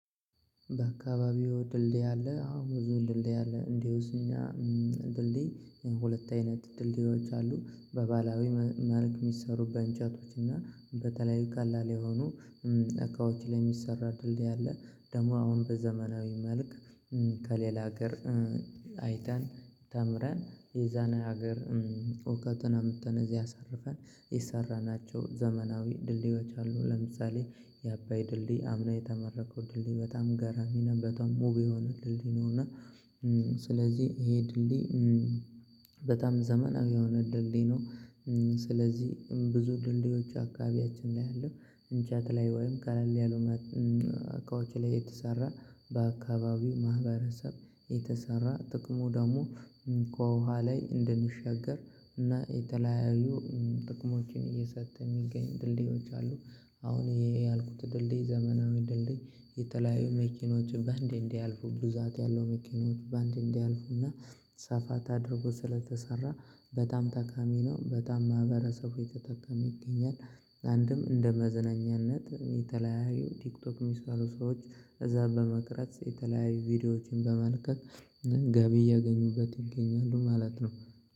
በአካባቢው ድልድይ አለ። አዎ ብዙ ድልድይ አለ እንዲሁስ እኛ ድልድይ ሁለት አይነት ድልድዮች አሉ። በባላዊ መልክ የሚሰሩ በእንጨቶች እና በተለያዩ ቀላል የሆኑ እቃዎች ላይ የሚሰራ ድልድይ አለ። ደግሞ አሁን በዘመናዊ መልክ ከሌላ ሀገር አይተን ተምረን የዛን ሀገር እውቀትን አምጥተን እዚህ አሳርፈን የሰራናቸው ዘመናዊ ድልድዮች አሉ። ለምሳሌ የአባይ ድልድይ አምና የተመረቀው ድልድይ በጣም ገራሚ ነው። በጣም ውብ የሆነ ነው። እና ስለዚህ ይሄ ድልድይ በጣም ዘመናዊ የሆነ ድልድይ ነው። ስለዚህ ብዙ ድልድዮች አካባቢያችን ላይ ያለው እንጨት ላይ ወይም ቀለል ያሉ እቃዎች ላይ የተሰራ በአካባቢው ማህበረሰብ የተሰራ ጥቅሙ ደግሞ ከውሃ ላይ እንድንሻገር እና የተለያዩ ጥቅሞችን እየሰጠ የሚገኝ ድልድዮች አሉ። አሁን ይሄ ያልኩት ድልድይ ዘመናዊ ድልድይ የተለያዩ መኪኖችን በአንዴ እንዲያልፉ ብዛት ያለው መኪኖች በአንዴ እንዲያልፉና ሰፋ ተድርጎ ስለተሰራ በጣም ጠቃሚ ነው። በጣም ማህበረሰቡ የተጠቀመ ይገኛል። አንድም እንደ መዝነኛነት የተለያዩ ቲክቶክ የሚሰሩ ሰዎች እዛ በመቅረጽ የተለያዩ ቪዲዮዎችን በመልቀቅ ገቢ እያገኙበት ይገኛሉ ማለት ነው።